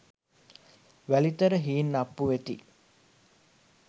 වැලිතර හීන්අප්පු වෙති.